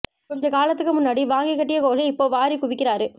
கொஞ்ச காலத்துக்கு முன்னாடி வாங்கி கட்டிய கோலி இப்போ வாரி குவிக்கிறாரு